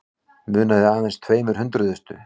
Munaði aðeins tveimur hundruðustu